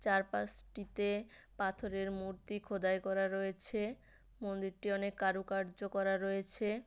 চারপাশটিতে পাথরের মূর্তি খোদাই করা রয়েছে মন্দিরটি অনেক কারুকার্য করা রয়েছে।